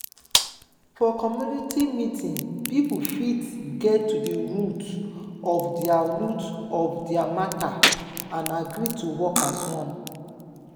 for community meeting pipo fit get to di root of their root of their matter and agree to work as one